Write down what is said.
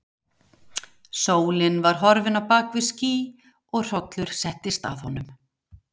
Sólin var horfin á bak við ský og hrollur settist að honum.